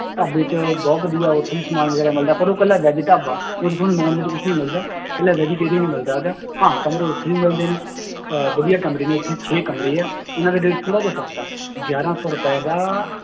ਢਾਬਾ ਚ ਬਹੁਤ ਵਧੀਆ ਉੱਥੇ ਵੀ ਸਮਾਨ ਵਗ਼ੈਰਾ ਮਿਲਦਾ ਪਰ ਉਹ ਇੱਕਲਾ veg ਢਾਬਾ, ਉਹ ਚ ਤੁਹਾਨੂੰ non veg ਕੁਛ ਨੀ ਮਿਲਦਾ, ਇਕੱਲਾ vegetarian ਹੀ ਮਿਲਦਾ ਗਾ, ਹਾਂ ਕਮਰੇ ਉੱਥੇ ਵੀ ਮਿਲਦੇ ਨੇ ਅਹ ਵਧੀਆ ਕਮਰੇ ਨੇ ਉੱਥੇ ਛੇ ਕਮਰੇ ਆ, ਉਹਨਾਂ ਦਾ rate ਥੋੜ੍ਹਾ ਜਿਹਾ ਸਸਤਾ ਹੈ ਗਿਆਰਾਂ ਸੌ ਰੁਪਏ ਦਾ